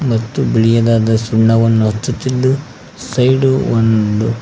ಮತ್ತು ಬಿಳಿಯದಾದ ಸುಣ್ಣವನ್ನು ಹಚ್ಚುತ್ತಿದ್ದು ಸೈಡು ಒಂದು--